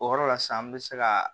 O yɔrɔ la sisan an bɛ se ka